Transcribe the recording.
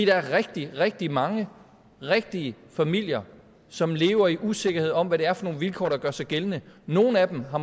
er rigtig rigtig mange rigtige familier som lever i usikkerhed om hvad det er for nogle vilkår der gør sig gældende nogle af dem har